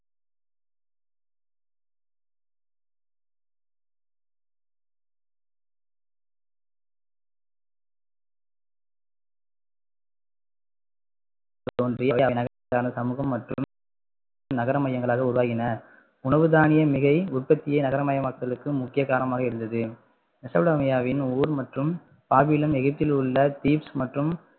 சமூகம் மற்றும் நகரமையங்களாக உருவாகின உணவுதானிய மிகை உற்பத்தியே நகரமயமாக்களுக்கு முக்கிய காரணமாக இருந்தது மெசப்பட்டோமியாவின் ஊர் மற்றும் பாபிலோன் எகிப்தில் உள்ள கீட்ஸ் மற்றும்